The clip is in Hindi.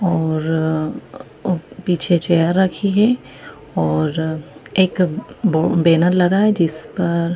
और पीछे चेयर रखी है और एक बो बैनर लगा है जिस पर--